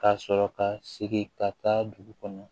Ka sɔrɔ ka segin ka taa dugu kɔnɔ